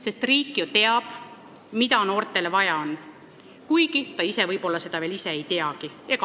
Sest riik ju teab, mida noortele vaja on, kuigi nad ise võib-olla seda veel ei tea.